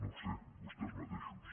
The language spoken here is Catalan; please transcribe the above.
no ho sé vostès mateixos